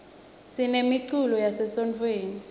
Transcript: sinemiculo yase sontfweni